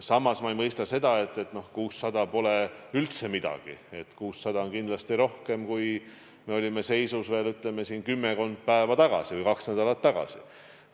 Samas ma ei mõista seda, et 600 pole üldse midagi, sest 600 on kindlasti rohkem kui see seis, mis oli kümmekond päeva tagasi või kaks nädalat tagasi.